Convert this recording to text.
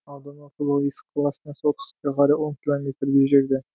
аудан орталығы есік қаласынан солтүстікке қарай он километрдей жерде